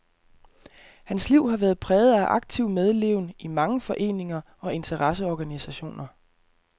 Hans liv har været præget af aktiv medleven i mange foreninger og interesseorganisationer.